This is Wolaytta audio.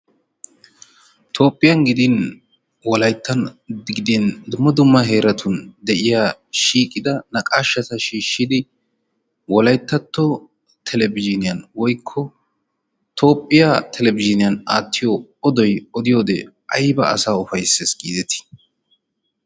Toophphiyan gidin wolayttan gidin dumma dumma heeratun de'iya shiiqida naqaashshata shiishshidi wolayttatto oduwa televizhiniyan aattidi odiyode odoy ayba asaa ufayssees giidetii?